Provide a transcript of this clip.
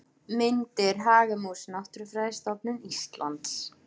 Myndir: Hagamús Náttúrufræðistofnun Íslands.